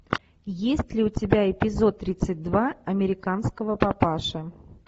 есть ли у тебя эпизод тридцать два американского папаши